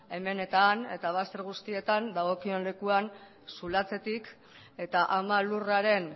hemen eta han eta bazter guztietan dagokion lekuan zulatzetik eta ama lurraren